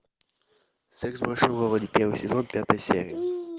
секс в большом городе первый сезон пятая серия